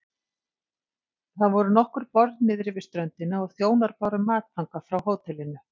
Það voru nokkur borð niðri við ströndina og þjónar báru mat þangað frá hótelinu.